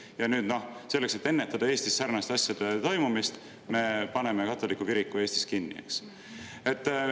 Ja nüüd selleks, et ennetada Eestis sarnaste asjade toimumist, me paneme katoliku kiriku Eestis kinni.